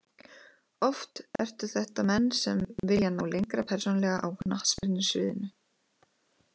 Oft ertu þetta menn sem vilja ná lengra persónulega á knattspyrnu sviðinu.